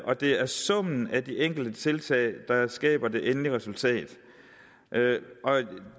og det er summen af de enkelte tiltag der skaber det endelige resultat